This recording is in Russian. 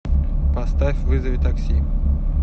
поставь вызови такси